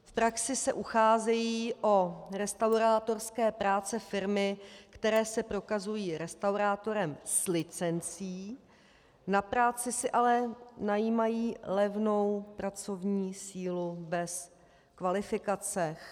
V praxi se ucházejí o restaurátorské práce firmy, které se prokazují restaurátorem s licencí, na práci si ale najímají levnou pracovní sílu bez kvalifikace.